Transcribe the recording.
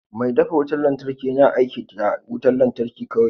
Mai dafa wutar lantarki yana aiki tare da wutar lantarki kawai